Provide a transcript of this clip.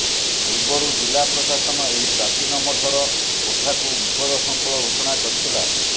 ପୂର୍ବରୁ ଜିଲ୍ଲା ପ୍ରଶାସନ ଏହି ପ୍ରାଚୀନ ମଠର କୋଠାକୁ ବିପଦସଙ୍କୁଳ ଘୋଷଣା କରିଥିଲା